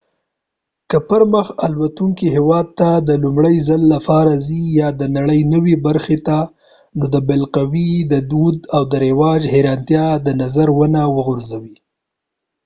که پرمخ تلونکي هیواد ته د لومړي ځل لپاره ځې یا د نړئ نوې برخې ته نو د بالقوې دود او رواج حیرانتیا د نظره ونه غورځوې